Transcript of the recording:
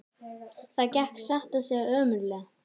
Það gekk satt að segja ömurlega.